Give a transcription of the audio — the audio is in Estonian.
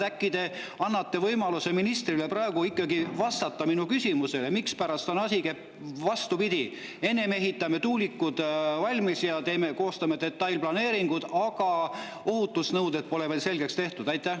Äkki te annate ministrile võimaluse ikkagi vastata minu küsimusele, mispärast asi käib vastupidi: ennem ehitame tuulikud valmis ja koostame detailplaneeringud, aga ohutusnõudeid pole veel selgeks tehtud?